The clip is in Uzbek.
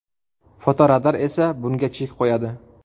Fotoradar esa bunga chek qo‘yadi.